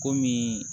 Komi